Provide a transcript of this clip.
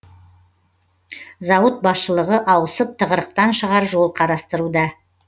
зауыт басшылығы ауысып тығырықтан шығар жол қарастырылуда